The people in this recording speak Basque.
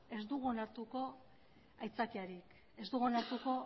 ez dugu onartuko aitzakiarik ez dugu onartuko